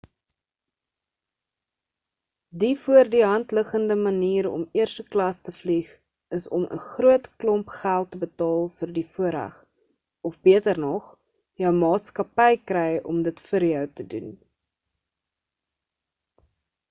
die voor die hand liggende manier om eerste klas te vlieg is om n groot klomp geld te betaal vir die voorreg of beter nog – jou maatskappy kry om dit vir jou te doen